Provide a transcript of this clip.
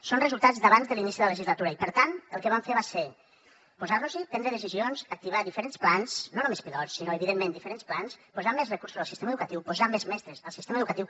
són resultats d’abans de l’inici de legislatura i per tant el que vam fer va ser posar nos hi prendre decisions activar diferents plans no només pilot sinó evidentment diferents plans posar més recursos al sistema educatiu posar més mestres al sistema educatiu